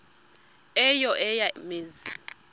eyo eya mizi